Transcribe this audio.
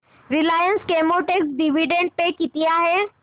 Reliance Chemotex dividend pay किती आहे